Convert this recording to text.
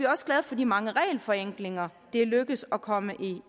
også glade for de mange regelforenklinger det er lykkedes at komme